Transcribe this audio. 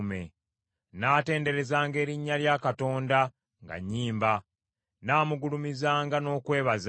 Nnaatenderezanga erinnya lya Katonda nga nnyimba; nnaamugulumizanga n’okwebaza.